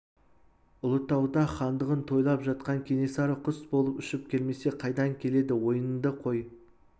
ұлытауда хандығын тойлап жатқан кенесары құс болып ұшып келмесе қайдан келеді ойыныңды қой